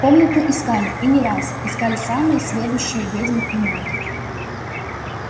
комнату искали и не раз искали самые сведущие ведьмы и маги